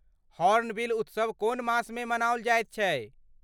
Hornbill उत्सव कोन मासमे मनाओल जाइत छै?